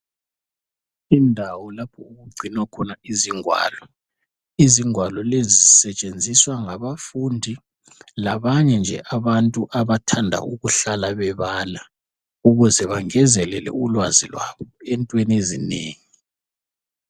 Indawo lapho okugcinwa khona izigwalo izigwalo lezi sisetshenziswa ngabafundi labantu nje abanye abathanda ukuhlala bebala ukuze bagezelele ulwazi lwabo entweni ezinengi.